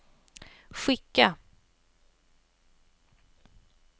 skicka